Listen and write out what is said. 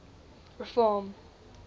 reform